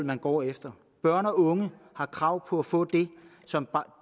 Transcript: man går efter børn og unge har krav på at få det som